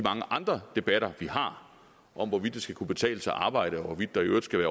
andre debatter vi har om hvorvidt det skal kunne betale sig at arbejde og hvorvidt der i øvrigt skal